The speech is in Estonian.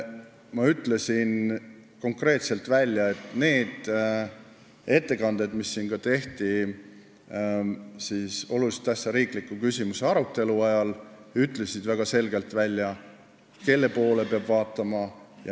Ma ütlesin konkreetselt, et need ettekanded, mis siin tehti olulise tähtsusega riikliku küsimuse arutelu ajal, näitasid väga selgelt, kelle poole peab vaatama.